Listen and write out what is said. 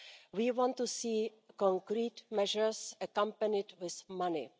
We want to see concrete measures accompanied with money.